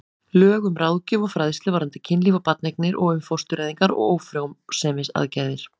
Lög um ráðgjöf og fræðslu varðandi kynlíf og barneignir og um fóstureyðingar og ófrjósemisaðgerðir.